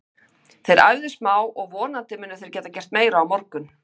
Þeir æfðu smá og vonandi munu þeir geta gert meira á morgun.